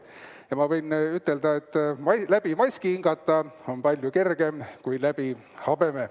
Ja ma võin ütelda, et läbi maski hingata on palju kergem kui läbi habeme.